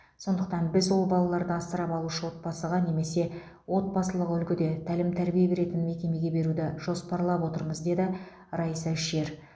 сондықтан біз ол балаларды асырап алушы отбасыға немесе отбасылық үлгіде тәлім тәрбие беретін мекемеге беруді жоспарлап отырмыз деді раиса шер